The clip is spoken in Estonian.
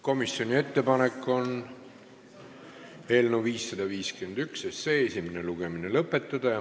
Komisjoni ettepanek on eelnõu 551 esimene lugemine lõpetada.